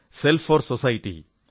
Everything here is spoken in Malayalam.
self 4 society